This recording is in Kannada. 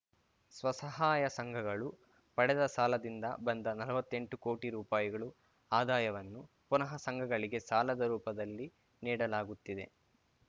ಸ್ವಸಹಾಯ ಸಂಘಗಳು ಪಡೆದ ಸಾಲದಿಂದ ಬಂದ ನಲ್ವತ್ತೆಂಟು ಕೋಟಿ ರುಪಾಯಿಗಳು ಆದಾಯವನ್ನು ಪುನಃ ಸಂಘಗಳಿಗೆ ಸಾಲದ ರೂಪದಲ್ಲಿ ನೀಡಲಾಗುತ್ತಿದೆ